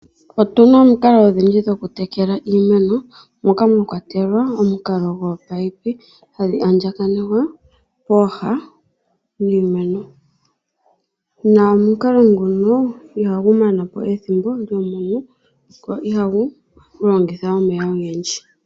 Otuna omikalo odhindji dhoku tekela iimeno moka mwa kwatelwa omukalo goopayipi dhaandjakanekwa pooha dhiimeno, na omukalo nguno ihagu mana po ethimbo lyomunu, go ihagu longitha omeya ogendji.